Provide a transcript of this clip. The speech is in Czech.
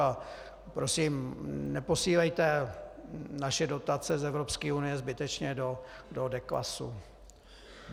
A prosím, neposílejte naše dotace z Evropské unie zbytečně do deklasu.